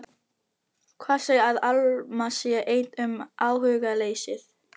Hver segir að Alma sé ein um áhugaleysið?